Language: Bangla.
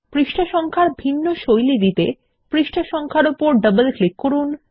পৃষ্ঠা নম্বর এর ভিন্ন শৈলী দিতে পৃষ্ঠা সংখ্যার উপর ডবল ক্লিক করুন